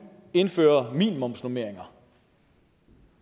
indfører minimumsnormeringer